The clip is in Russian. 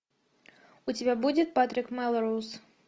у тебя будет патрик мелроуз